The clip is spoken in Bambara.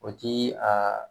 O ti a